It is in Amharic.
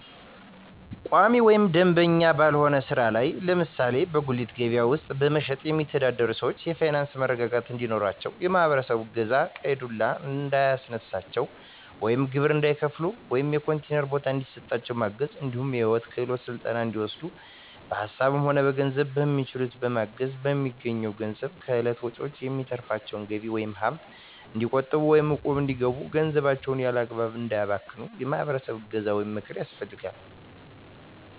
ቋሚ ወይም መደበኛ ባልሆነ ስራ ላይ ለምሳሌ በጉሌት ከበያ ውስጥ በመሸትጥ የሚተዳደሩትን ሰዎች የፋይናንስ መረጋጋት እንዲኖራቸው የማህበረሰቡ እገዛ ቀይ ዱላ እንዳያስነሳቸው ወይም ግብር እንዳይከፍሉ ወይም የኮንቲነር ቦታ እንዲሰጣቸው ማገዝ እንዲሁም የሂወት ክሄሎት ስልጠና እንዲወስዱ በሀሳብም ሆነ በገንዘብ በሚችሉት ማገዝ፣ በሚያገኙት ገንዘብ ከእለት ወጭዎች የሚተርፋቸውን ገቢ ወይም ሀብት እንዲቆጥቡ ወይም እቁብ እንዲገቡ ገንዘባቸውን ያላግባብ እንዳያባክኑ የማህበረሰቡ እገዛ ወይም ምክር ያስፈልጋል።